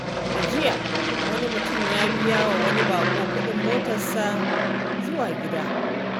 A jiya, wani mutum ya biya wa wani bako kudin motarsa zuwa gida.